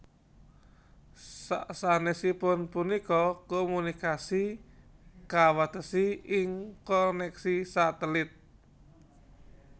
Sasanèsipun punika komunikasi kawatesi ing konèksi satelit